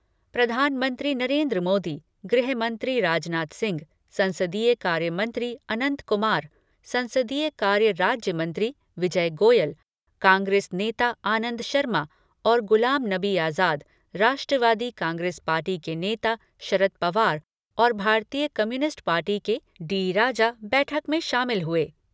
प्रधानमंत्री नरेन्द्र मोदी, गृहमंत्री राजनाथ सिंह, संसदीय कार्यमंत्री अनंत कुमार, संसदीय कार्य राज्य मंत्री विजय गोयल, कांग्रेस नेता आनंद शर्मा और गुलाम नबी आजाद, राष्ट्रवादी कांग्रेस पार्टी के नेता शरद पवार और भारतीय कम्युनिस्ट पार्टी के डी राजा बैठक में शामिल हुए।